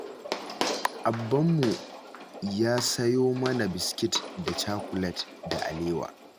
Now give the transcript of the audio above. Abbanmu yau ya sayo mana biskit da cakulet da alewa.